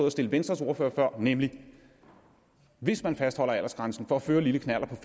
at stille venstres ordfører før nemlig hvis man fastholder aldersgrænsen for at føre lille knallert